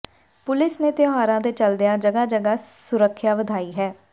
police ਨੇ ਤਿਉਹਾਰਾਂ ਦੇ ਚਲਦਿਆਂ ਜਗ੍ਹਾ ਜਗ੍ਹਾ ਸੁਰੱਖਿਆ ਵਧਾਈ ਹੈ